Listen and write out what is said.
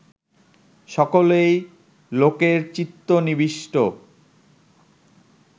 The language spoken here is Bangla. সকলেই লোকের চিত্ত নিবিষ্ট